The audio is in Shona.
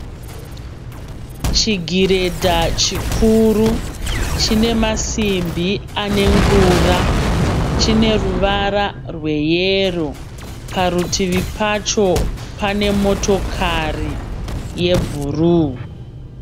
Chigiredha chikuru chine masimbi ane ngura. Chine ruvara rweyero. Parutivi pacho pane motokari yebhuru.